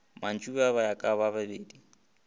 mantšiboa ba ya kabababedi ba